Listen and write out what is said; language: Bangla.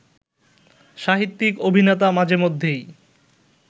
সাহিত্যিক, অভিনেতা মাঝেমধ্যেই